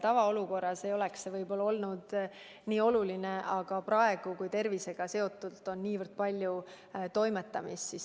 Tavaolukorras ei oleks see ehk nii oluline, aga praegu on tervisega seotult nii palju toimetamist.